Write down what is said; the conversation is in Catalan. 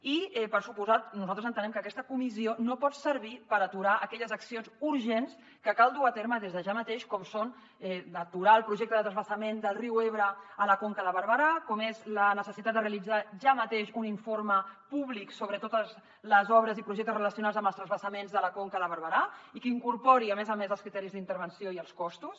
i per descomptat nosaltres entenem que aquesta comissió no pot servir per aturar aquelles accions urgents que cal dur a terme des de ja mateix com són aturar el projecte de transvasament del riu ebre a la conca de barberà com és la necessitat de realitzar ja mateix un informe públic sobre totes les obres i projectes relacionats amb els transvasaments de la conca de barberà i que incorpori a més a més els criteris d’intervenció i els costos